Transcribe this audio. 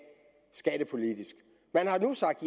skattepolitisk man har nu sagt